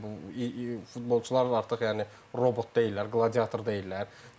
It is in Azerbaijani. yəni bu futbolçular artıq yəni robot deyillər, qladiator deyillər.